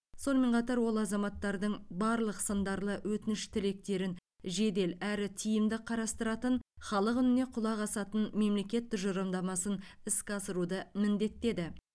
сонымен қатар ол азаматтардың барлық сындарлы өтініш тілектерін жедел әрі тиімді қарастыратын халық үніне құлақ асатын мемлекет тұжырымдамасын іске асыруды міндеттеді